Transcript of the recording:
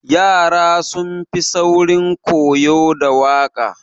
Yara sun fi saurin koyo da waƙa.